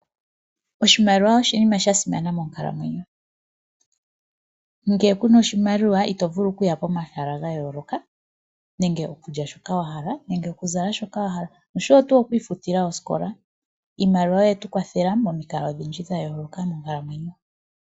Oshimaliwa oshinima shasimana monkalamwenyo. Ngele kuna oshimaliwa, ito vulu oku ya pomahala gayooloka nenge okulya shika wahala nenge oku zala shoka wahala, noshowo oku ifutila osikola. Iimaliwa oye tukwathela momikalo odhindji dhayooloka monkalamwenyo.